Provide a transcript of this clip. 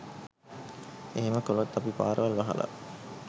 එහෙම කලොත් අපි පාරවල් වහල